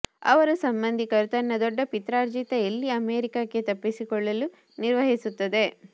ಅವರು ಸಂಬಂಧಿಕರು ತನ್ನ ದೊಡ್ಡ ಪಿತ್ರಾರ್ಜಿತ ಎಲ್ಲಿ ಅಮೇರಿಕಕ್ಕೆ ತಪ್ಪಿಸಿಕೊಳ್ಳಲು ನಿರ್ವಹಿಸುತ್ತದೆ